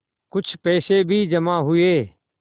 कुछ पैसे भी जमा हुए